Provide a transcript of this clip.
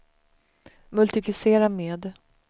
multiplicera med